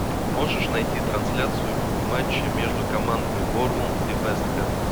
можешь найти трансляцию матча между командами борнмут и вест хэм